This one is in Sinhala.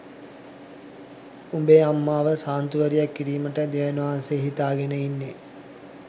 උඹේ අම්මව ශාන්තුවරියක් කිරීමටයි දෙවියන් වහන්සේ හිතාගෙන ඉන්නෙ